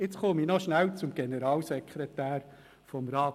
Jetzt komme ich noch schnell zum Generalsekretär des Rats.